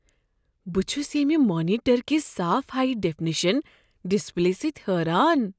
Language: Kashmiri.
بہٕ چھس ییمہ مانیٹر کس صاف ہائی ڈیفنیشن ڈسپلے سۭتۍ حیران۔